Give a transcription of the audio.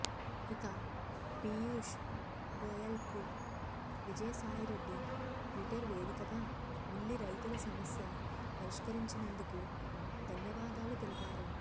ఇక పీయూష్ గోయల్కు విజయసాయిరెడ్డి ట్విటర్ వేదికగా ఉల్లి రైతుల సమస్య పరిష్కరించినందుకు ధన్యవాదాలు తెలిపారు